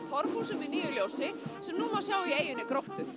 torfhúsum í nýju ljósi sem nú má sjá í eynni Gróttu